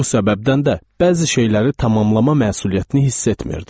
Bu səbəbdən də bəzi şeyləri tamamlama məsuliyyətini hiss etmirdim.